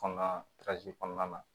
Kɔnɔnan kɔnɔna na